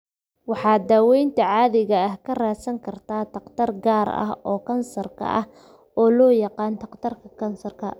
Waxaad daawaynta caadiga ah ka raadsan kartaa takhtar gaar ah oo kansar ah, oo loo yaqaan dhakhtarka kansarka.